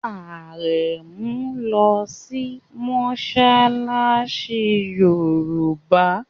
Arẹmu nlò sí Mossalassi yorùbá.